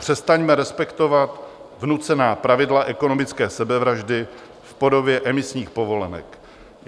Přestaňme respektovat vnucená pravidla ekonomické sebevraždy v podobě emisních povolenek.